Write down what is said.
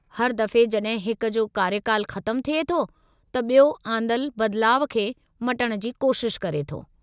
हर दफ़े जड॒हिं हिकु जो कार्यकालु ख़तमु थिए थो, त बि॒यो आंदलु बदिलाउ खे मटिणु जी कोशिशि करे थो।